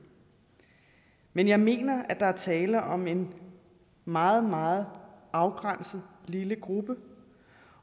men jeg mener at der er tale om en meget meget afgrænset lille gruppe